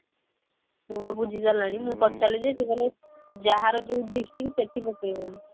ମୁଁ ବା ବୁଝି ସାରିଲିଣି ମୁଁ ପଚାରିଲି ଯେ ସେ କହିଲେ ଯାହାର ଯଉ district ସେଠି ପକେଇବନି